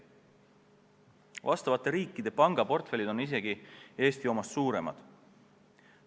Nende riikide pangaportfellid on Eesti omast isegi suuremad.